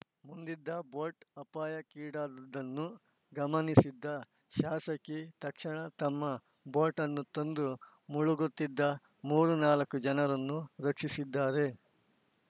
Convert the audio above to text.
ಮುಂದಿದ್ದ boat ಅಪಾಯಕ್ಕೀಡಾದುದನ್ನು ಗಮನಿಸಿದ ಶಾಸಕಿ ತಕ್ಷಣ ತಮ್ಮ ಬೋಟನ್ನು ತಂದು ಮುಳುಗುತ್ತಿದ್ದ ಮೂರು ನಾಲ್ಕು ಜನರನ್ನು ರಕ್ಷಿಸಿದ್ದಾರೆ